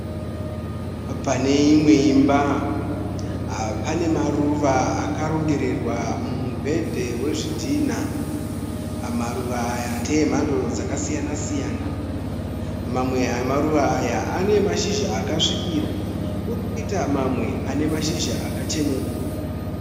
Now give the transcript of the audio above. Pane imwe imba, pane maruva akarongererwa mumubhedha wezvidhina. Maruva aya ndemhando dzakasiyana siyana. Mamwe emaruva aya ane mashizha akasvibira kwozoita mamwe ane mashizha akacheneruka.